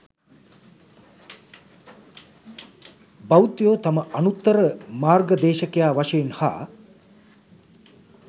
බෞද්ධයෝ තම අනුත්තර මාර්ගදේශකයා වශයෙන් හා